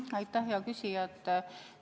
Aitäh, hea küsija!